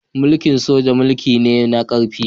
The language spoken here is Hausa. Mulki'n soja mulki ne na karfi.